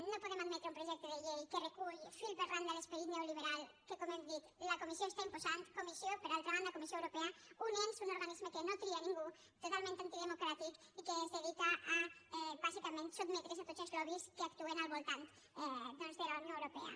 no podem admetre un projecte de llei que recull fil per randa l’esperit neoliberal que com hem dit la comissió està imposant per altra banda comissió europea un ens un organisme que no tria ningú totalment antidemocràtic i que es dedica a bàsicament sotmetre’s a tots els lobbys que actuen al voltant doncs de la unió europea